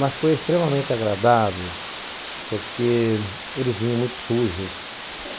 Mas foi extremamente agradável, porque eles vinham muito sujos.